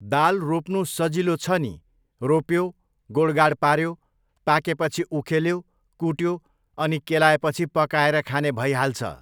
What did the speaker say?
दाल रोप्नु सजिलो छ नि, रोप्यो, गोडगाड पाऱ्यो, पाकेपछि उखेल्यो, कुट्यो अनि केलाएपछि पकाएर खाने भइहाल्छ।